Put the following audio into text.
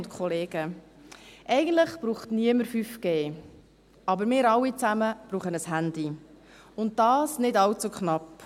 Eigentlich braucht niemand 5G, aber wir alle brauchen ein Handy, und dies nicht allzu knapp.